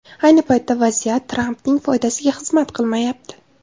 Ayni paytda vaziyat Trampning foydasiga xizmat qilmayapti.